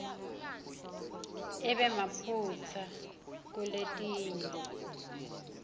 ibe nemaphutsa kuletinye